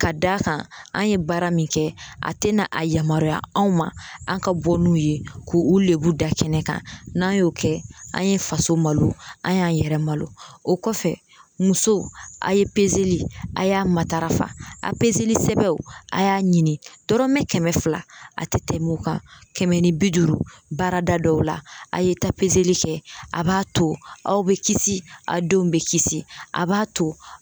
Ka d'a kan an ye baara min kɛ a te na a yamaruya anw ma an ka bɔ n'u ye k'u lebu da kɛnɛ kan n'a y'o kɛ an ye faso malo an y'an yɛrɛ malo o kɔfɛ musow a ye pezeli a y'a matarafa a pezeli sɛbɛnw a y'a ɲini dɔrɔmɛ kɛmɛ fila a tɛ tɛmɛ o kan kɛmɛ ni bi duuru baarada dɔw la a ye taa pezeli kɛ a b'a to aw be kisi a denw be kisi a b'a to